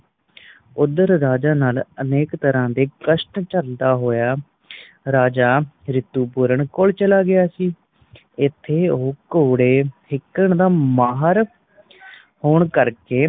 ਉੱਧਰ ਰਾਜਾ ਨੱਲ ਅਨੇਕ ਤਰਾਂ ਦੇ ਕਸ਼ਟ ਝੱਲਦਾ ਹੋਇਆ ਰਾਜਾ ਰਿਤੂਪੁਰਣ ਕੌਲ ਚਲਾ ਗਿਆ ਸੀਂ। ਇੱਥੇ ਉਹ ਘੋੜੇ ਸਿੱਖਣ ਦਾ ਮਾਹਰ ਹੋਣ ਕਰਕੇ